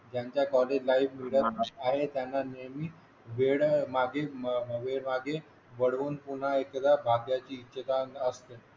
त्यांचे solid life मीडल आहे त्यांच्यासाठी नेहमी वेळ मागे वेळ मागे वळून पुन्हा एकदा भाग्याची जगण्याची असते